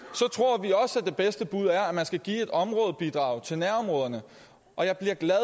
så det bedste bud er at man skal give et områdebidrag til nærområderne og jeg bliver glad